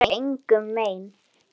Þeir gera engum mein.